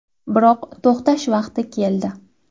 Biroq to‘xtash vaqti keldi.